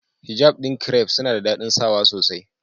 Hijab ɗin kiref suna da daɗin sawa sosai.